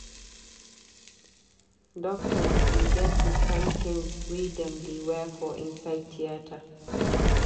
Doctors dey get di kind tins wey dem dey wear for inside theatre.